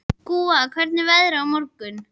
Gúa, hvernig er veðrið á morgun?